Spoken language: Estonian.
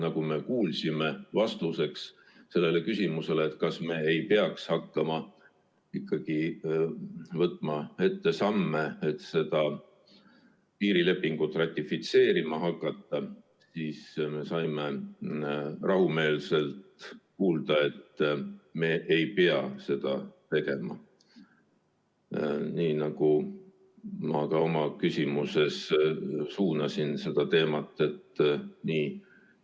Täna me kuulsime rahumeelseks vastuseks küsimusele, kas me ei peaks hakkama tegema samme piirilepingu ratifitseerimiseks, et me ei pea seda tegema, nii nagu ma ka oma küsimuses seda teemat suunasin.